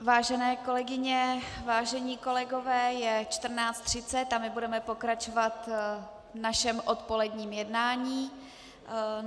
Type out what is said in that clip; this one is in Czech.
Vážené kolegyně, vážení kolegové, je 14.30 a my budeme pokračovat v našem odpoledním jednání.